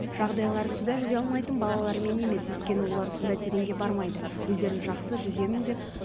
жағдайлар суда жүзе алмайтын балалармен емес өйткені олар суда тереңге бармайды өздерін жақсы жүземін деп